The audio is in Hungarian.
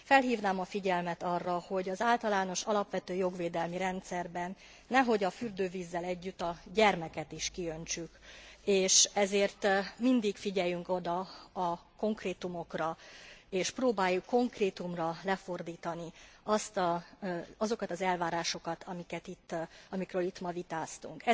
Felhívnám a figyelmet arra, hogy az általános alapvető jogvédelmi rendszerben nehogy a fürdővízzel együtt a gyermeket is kiöntsük, és ezért mindig figyeljünk oda a konkrétumokra és próbáljuk konkrétumra lefordítani azokat az elvárásokat, amikről itt ma vitáztunk.